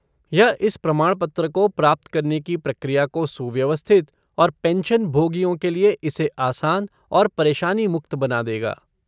यह इस प्रमाणपत्र को प्राप्त करने की प्रक्रिया को सुव्यवस्थित और पेंशनभोगियों के लिए इसे आसान और परेशानी मुक्त बना देगा।